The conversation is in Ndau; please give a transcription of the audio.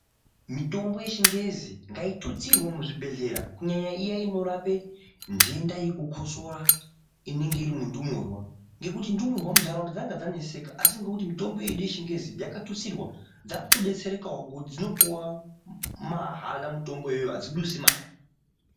Mitombo yechingezi ngaitutsirwe muzvibhedhlera kunyanya iya inorapa ndenda yechikosoro inenge iri mundmurwa ngekuti ndumurwa muntaraunda dzanga dzaneseka asi nekuti mutombo wedu wechingezi yakatutsirwa dzava kuto detserekawo nekuti dzinopiwa mahala mutombo iyoyo hadzidusi mare.